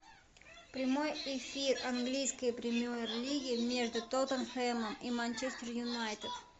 прямой эфир английской премьер лиги между тоттенхэмом и манчестер юнайтед